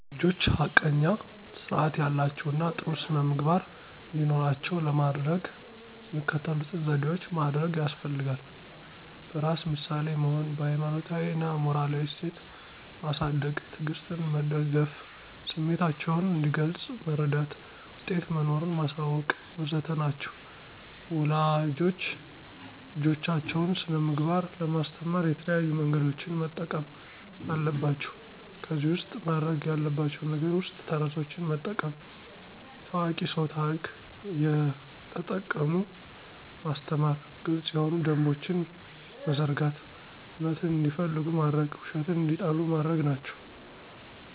ልጆች ሐቀኛ ስርአት ያላቸው እና ጥሩ ስነምግባር እንዲኖራቸው ለማደረግ የሚከተሉትን ዘዴዎች ማደርግ ያስፈልጋል። በራስ ምሳሌ መሆን፣ በሀይማኖታዊ እና ሞራላዊ እሴት ማሳድግ፣ ትዕግስትን መደገፍ፣ ስሚታቸውን እንዲገልጽ መረዳት፣ ውጤት መኖሩን ማሳወቅ.. ወዘተ ናቸው ወላጆች ልጆቻቸውን ስነምግባር ለማስተማር የተለያዩ መንገዶችን መጠቀም አለባቸው ከዚህ ውስጥ ማድርግ ያለባቸው ነገር ውስጥ ተረቶችን መጠቀም፣ የታዋቂ ስው ታርክ እየተጠቀሙ ማስተማር፣ ግልጽ የሆኑ ደንቦችን መዘርጋት፣ እውነትን እንዲፈልጉ ማድርግ ውሸትን እንዲጠሉ ማድርግ ናቸው።